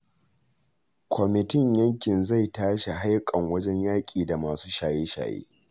Kwamitin yankin zai ta shi haiƙan wajen yaƙi da masu shaye-shaye.